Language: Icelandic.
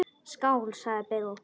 Skál, sagði Bill.